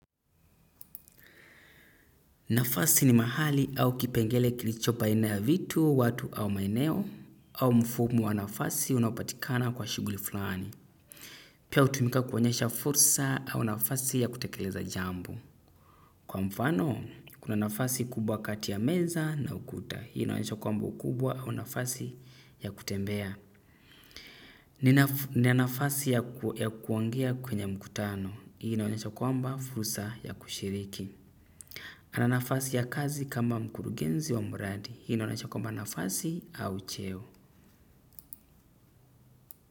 Nafasi ni mahali au kipengele kilichopo baina ya vitu, watu au maeneo, au mfumo wa nafasi unaopatikana kwa shughuli fulani. Pia hutumika kuonyesha fursa au nafasi ya kutekeleza jambo. Kwa mfano, kuna nafasi kubwa kati ya meza na ukuta. Hii inaonyesha kwamba ukubwa au nafasi ya kutembea. Ni nafasi yakuongea kwenye mkutano. Hii na wanyesha kwamba fursa ya kushiriki. Ana nafasi ya kazi kama mkurugenzi wa mradi, hii inaonyesha kwamba nafasi au cheo.